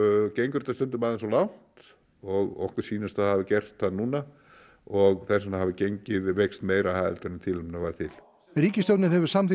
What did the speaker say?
gengur þetta stundum aðeins of langt og sýnist það hafa gert það núna og þess vegna hafi gengið veikst meira heldur en tilefni var til ríkisstjórnin hefur samþykkt